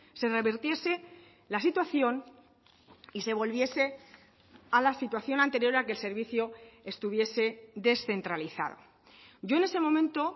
se revertiese la situación y se volviese a la situación anterior a que el servicio estuviese descentralizado yo en ese momento